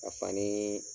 Ka fanii